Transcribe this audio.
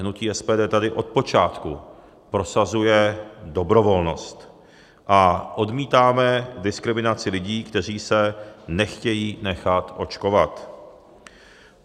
Hnutí SPD tady od počátku prosazuje dobrovolnost a odmítáme diskriminaci lidí, kteří se nechtějí nechat očkovat.